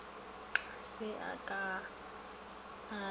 se a ka a ya